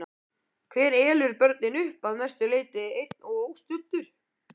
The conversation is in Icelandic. Hver elur börnin upp, að mestu leyti einn og óstuddur?